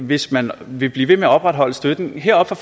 hvis man vil blive ved med at opretholde støtten her fra